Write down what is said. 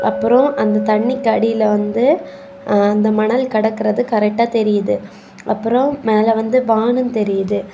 அப்றோ அந்த தண்ணிக்கு அடியில வந்து ஆ அந்த மணல் கடக்கிறது கரெக்டா தெரியுது அப்றோ மேல வந்து வானம் தெரியுது.